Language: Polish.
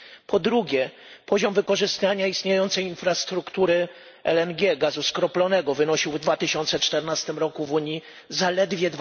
Po drugie, poziom wykorzystania istniejącej infrastruktury LNG gazu skroplonego wynosił w 2014 roku w Unii zaledwie